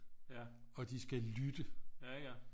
Og de skal lytte